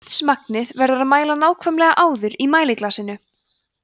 vatnsmagnið verður að mæla nákvæmlega áður í mæliglasinu